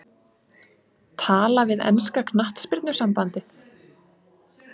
Tala við enska knattspyrnusambandið?